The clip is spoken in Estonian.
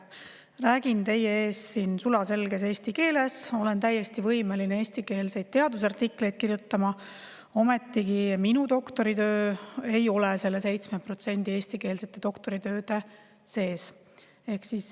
Räägin teie ees siin sulaselges eesti keeles, olen täiesti võimeline eestikeelseid teadusartikleid kirjutama, ometigi minu doktoritöö ei ole selle 7% eestikeelsete doktoritööde seas.